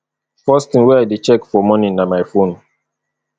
first thing wey i dey check for morning na my phone